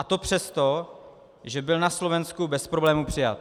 A to přesto, že byl na Slovensku bez problémů přijat.